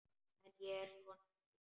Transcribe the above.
En ég er ekki svona.